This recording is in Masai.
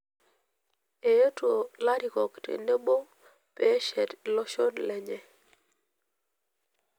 Eetuo larikok tenebo pee eshet iloshon lenye.